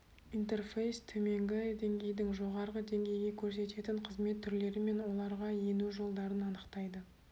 интерфейс төменгі деңгейдің жоғарғы деңгейге көрсететін қызмет түрлері мен оларға ену жолдарын анықтайды